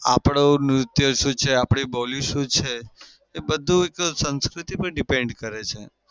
આપડું નૃત્ય શું છે? આપડી બોલી શું છે? એ બધું જ સંસ્કૃતિ પણ depend કરે છે.